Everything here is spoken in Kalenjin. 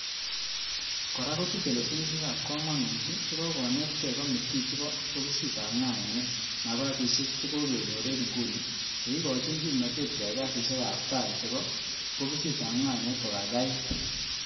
Kora kotuche lesonisiek ab komonut, chekokonetke komiti chebo bokisitab ngainet, napasisiek che kokenyor en inguni, cheikochin kimnotet keyai kasisiek ab tai chebo bokisitab ngainet ko kaikai it